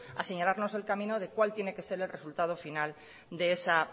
a señalarnos el camino de cuál tiene que ser el resultado final de esa